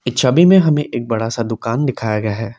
इस छवि में हमें एक बड़ा सा दुकान दिखाया गया है।